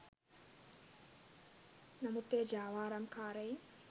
නමුත් එය ජාවාරම්කාරයින්